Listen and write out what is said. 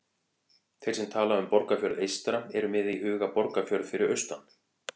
Þeir sem tala um Borgarfjörð eystra eru með í huga Borgarfjörð fyrir austan.